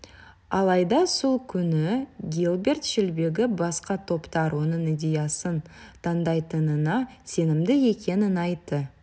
алайда сол күні гилберт шелбиге басқа топтар оның идеясын таңдайтынына сенімді екенін айтты